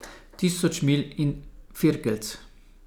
Tisoč milj in firkeljc.